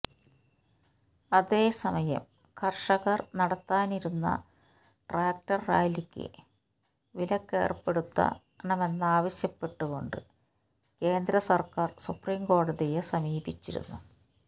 അതേസമയം കര്ഷകര് നടത്താനിരിക്കുന്ന ട്രാക്ടര് റാലിയ്ക്ക് വിലക്കേര്പ്പെടുത്തണമെന്നാവശ്യപ്പെട്ടു കൊണ്ട് കേന്ദ്ര സര്ക്കാര് സുപ്രീം കോടതിയെ സമീപിച്ചിരുന്നു